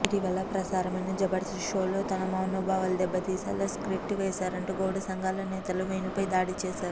ఇటీవల ప్రసారమైన జబర్దస్త్ షోలో తమ మనోభావాలు దెబ్బతీసేలా స్కిట్ చేసారంటూ గౌడ సంఘాల నేతలు వేణుపై దాడి చేసారు